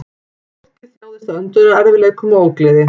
Fólkið þjáðist af öndunarerfiðleikum og ógleði